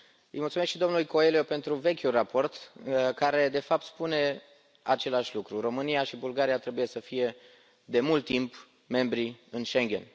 Îi mulțumesc și domnului Coelho pentru vechiul raport, care, de fapt, spune același lucru România și Bulgaria trebuiau să fie de mult timp membre ale Schengen.